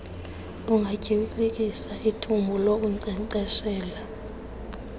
ungatyibilikisi ithumbu lokunkcenkceshela